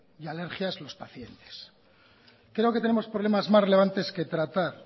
y alergia es los pacientes creo que tenemos problemas más relevantes que tratar